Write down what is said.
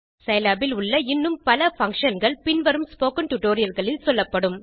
Scilab இல் உள்ள இன்னும் பல functionகள் பின் வரும் ஸ்போக்கன் டியூட்டோரியல் களில் சொல்லப்படும்